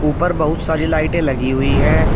उपर बहुत सारी लाइटें लगी हुई हैं।